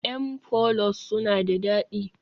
m pollows suna da dadi